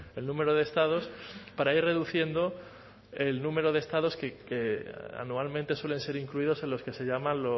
el número de estados para ir reduciendo el número de estados que anualmente suelen ser incluidos en los que se llaman